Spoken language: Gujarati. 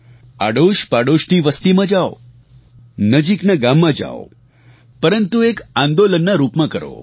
આડોશપાડોશની વસ્તીમાં જાઓ નજીકના ગામમાં જાઓ પરંતુ એક આંદોલનના રૂપમાં કરો